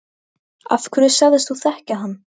Af hverju sagðist þú þekkja hann?